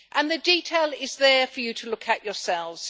And the detail is there for you to look at yourselves